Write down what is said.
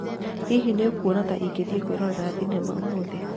Hihi nĩ ũkuona ta ingĩthiĩ kwĩrorera thenema ũmũthĩ